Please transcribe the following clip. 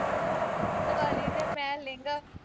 ਦਵਾਲੀ ਤੇ ਮੈਂ ਲਹਿੰਗਾ